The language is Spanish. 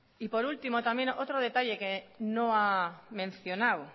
y por último también otro detalle que no ha mencionado